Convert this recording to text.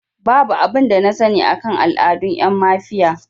Babu abin da na sani akan al'adun ƴan mafiya